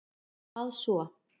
hvað svo?